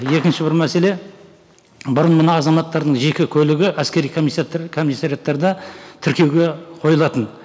екінші бір мәселе бұрын мына азаматтардың жеке көлігі әскери комиссариаттарда тіркеуге қойылатын